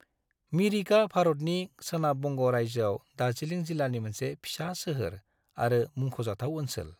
मिरिकआ भारतनि सोनाब बंग' रायजोआव दार्जिलिं जिलानि मोनसे फिसा सोहोर आरो मुंख'जाथाव ओनसोल।